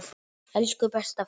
Elsku besta frænka.